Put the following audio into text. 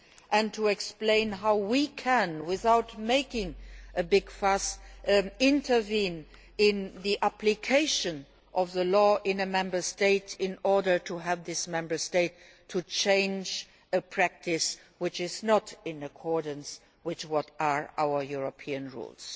and to explain how, without making a big fuss, we can intervene in the application of the law in a Member State in order to have that Member State change a practice which is not in accordance with our European rules.